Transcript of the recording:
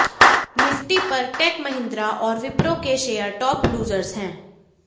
Nifty पर Tech Mahindra और विप्रो के शेयर टॉप लूजर्स हैं